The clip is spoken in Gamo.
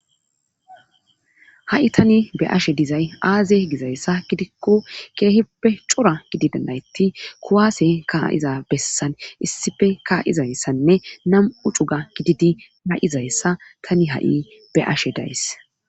ha7i tani be ashe dizay aaze gizayssa gidikko keehippe cora gididanayti kuwaase kaa7iza bessan issife kaa7izayssanne nam7u cuga gididi ma7izayssa tani ha7i be ashe days